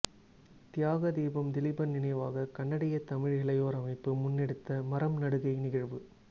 தியாக தீபம் திலீபன் நினைவாக கனடிய தமிழ் இளையோர் அமைப்பு முன்னெடுத்த மரம் நடுகை நிகழ்வு